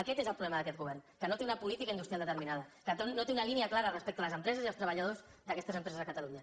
aquest és el problema d’aquest govern que no té una política industrial determinada que no té una línia clara respecte a les empreses i els treballadors d’aquestes empreses a catalunya